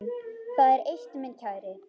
Það er eitt, minn kæri.